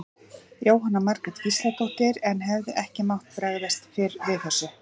Jóhanna Margrét Gísladóttir: En hefði ekki mátt bregðast fyrr við þessu?